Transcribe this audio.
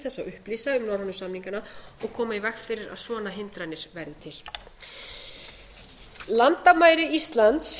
að upplýsa um norrænu samningana og koma í veg fyrir að svona hindranir væru til landamæri íslands